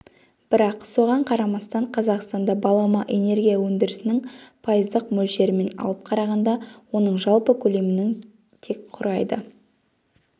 бірақ соған қарамастан қазақстанда балама энергия өндірісінің пайыздық мөлшерімен алып қарағанда оның жалпы көлемінің тек құрайды